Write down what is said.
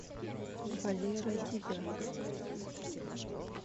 валера девятков